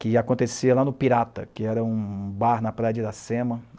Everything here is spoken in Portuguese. Que acontecia lá no Pirata, que era um um bar na praia de Iracema.